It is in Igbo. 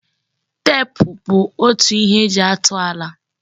Tep bụ otu ihe eji atụ ala.